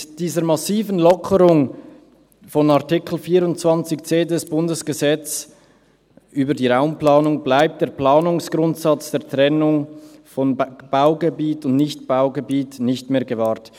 Mit dieser massiven Lockerung von Artikel 24c RPG bleibt der Planungsgrundsatz der Trennung von Baugebiet und Nichtbaugebiet nicht mehr gewahrt.